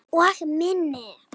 Og minni.